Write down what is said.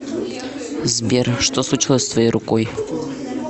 сбер что случилось с твоей рукой